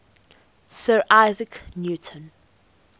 sir isaac newton